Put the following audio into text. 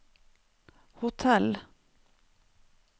hotell